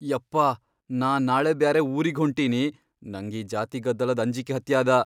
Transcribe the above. ಯಪ್ಪಾ ನಾ ನಾಳೆ ಬ್ಯಾರೆ ಊರಿಗ್ ಹೊಂಟಿನಿ, ನಂಗ್ ಈ ಜಾತಿ ಗದ್ದಲದ್ ಅಂಜಿಕಿ ಹತ್ಯಾದ.